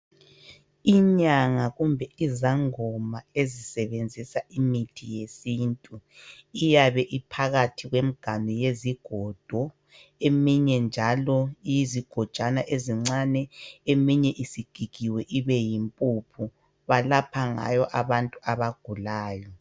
Inyanga kumbe izangoma ezisebenzisa imithi yesintu. iyabe iphakathi kwemiganu yezigodo, Eminye njalo iyigojana ezincane, iminye isigigiwe ibe imphuphu, balapha ngayo abagulayo.